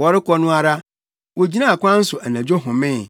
Wɔrekɔ no ara, wogyinaa kwan so anadwo homee.